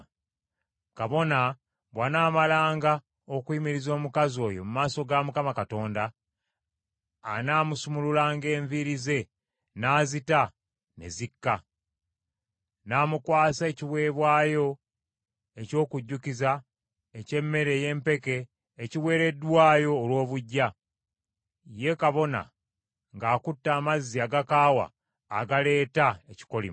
Kabona bw’anaamalanga okuyimiriza omukazi oyo mu maaso ga Mukama Katonda, anaamusumululanga enviiri ze n’azita ne zikka, n’amukwasa ekiweebwayo eky’okujjukiza eky’emmere y’empeke ekiweereddwayo olw’obuggya, ye kabona ng’akutte amazzi agakaawa agaleeta ekikolimo.